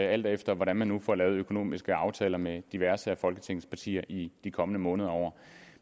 alt efter hvordan man nu får lavet de økonomiske aftaler med diverse af folketingets partier i de kommende måneder og år